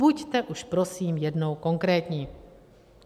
Buďte už prosím jednou konkrétní.